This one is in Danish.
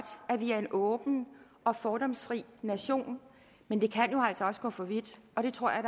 at vi er en åben og fordomsfri nation men det kan jo altså også gå for vidt og det tror jeg